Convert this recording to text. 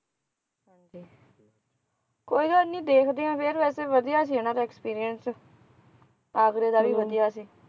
ਕੋਈ ਗੱਲ ਨੀ ਦੇਖਦੇ ਆ ਫੇਰ ਵੈਸੇ ਵਧੀਆ ਸੀ ਉਹਨਾਂ ਦਾ experience ਆਗਰੇ ਦਾ ਵੀ ਵਧੀਆ ਸੀ